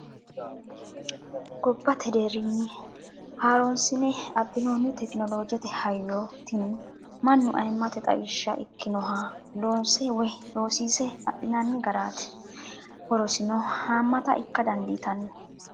Gobbate deerinni haaronsine abbinonni tekinolojjete hayyo tini mannu ayimate xawishsha ikkinoha loonse woyi loosise adhinanni garati horosino hamatta ikka dandiittano.